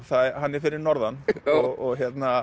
hann er fyrir norðan og